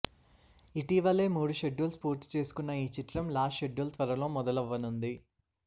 ఇటీవలె మూడు షెడ్యూల్స్ పూర్తి చేసుకొన్న ఈ చిత్రం లాస్ట్ షెడ్యూల్ త్వరలో మొదలవ్వనుంది